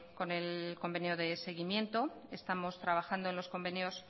con el convenio de seguimiento estamos trabajando en los convenios